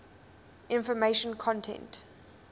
information content